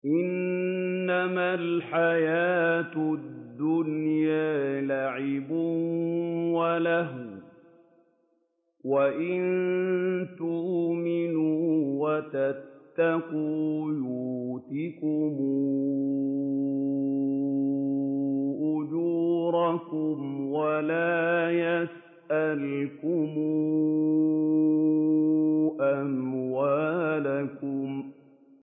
إِنَّمَا الْحَيَاةُ الدُّنْيَا لَعِبٌ وَلَهْوٌ ۚ وَإِن تُؤْمِنُوا وَتَتَّقُوا يُؤْتِكُمْ أُجُورَكُمْ وَلَا يَسْأَلْكُمْ أَمْوَالَكُمْ